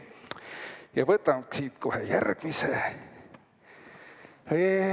Ja võtame siit kohe järgmise.